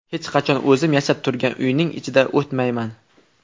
Hech qachon o‘zim yashab turgan uyning ichida otmayman.